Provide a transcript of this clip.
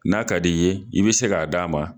N'a ka di ye i bi se k'a d'a ma